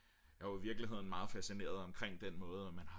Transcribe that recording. jeg er jo i virkeligheden meget fascineret omkring den måde man har